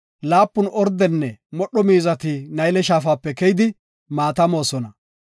laapun ordenne modho miizati Nayle Shaafape keyidi, maata moosona.